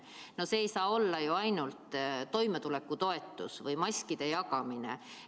No see ei saa olla ju ainult toimetulekutoetus või maskide jagamine.